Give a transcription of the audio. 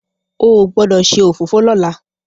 o gbódò ṣe òfófó lọla!